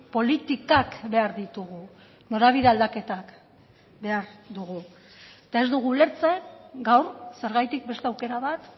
politikak behar ditugu norabide aldaketak behar dugu eta ez dugu ulertzen gaur zergatik beste aukera bat